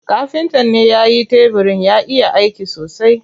Kafintan ne yayi tebirin, ya iya aiki sosai.